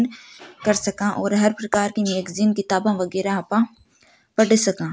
कर सका और हर प्रकार की मैगज़ीन किताबे वेगरा आपा पढ़ सका।